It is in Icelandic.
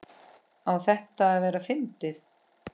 Á þetta að vera fyndið?